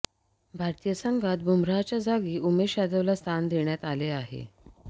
भारतीय संघात बुमराहच्या जागी उमेश यादवला स्थान देण्यात आले आहे